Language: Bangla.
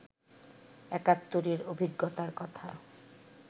একাত্তরের অভিজ্ঞতার কথা